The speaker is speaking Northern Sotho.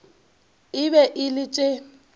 e be e le tše